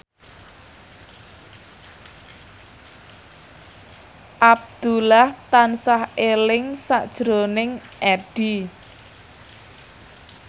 Abdullah tansah eling sakjroning Addie